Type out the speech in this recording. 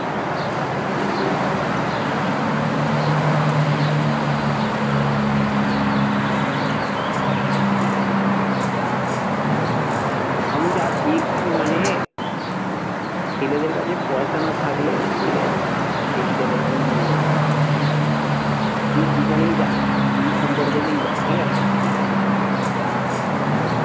আমি যে আজ দেখছি মানে ছেলেদের কাছে পয়সা না থাকলে ঠিক আছে সেই ছেলের কোনো মূল্য নেই। তুই যেখানেই যা যেই সম্পর্কতেই যা ঠিক আছে হম